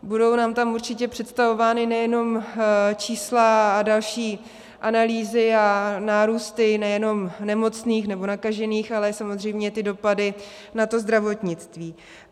Budou nám tam určitě představována nejenom čísla a další analýzy a nárůsty nejenom nemocných nebo nakažených, ale samozřejmě ty dopady na to zdravotnictví.